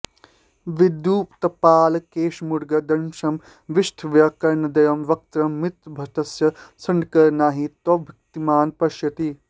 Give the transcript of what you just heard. विद्युत्पाटलकेशमुग्रदशनं विष्टब्धकर्णद्वयं वक्त्रं मृत्युभटस्य शङ्कर नहि त्वद्भक्तिमान् पश्यति